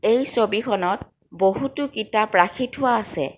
এই ছবিখনত বহুতো কিতাপ ৰাখি থোৱা আছে।